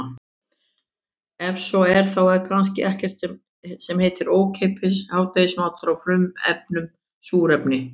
Ef svo er þá er kannski ekkert sem heitir ókeypis hádegismatur á frumefninu súrefni.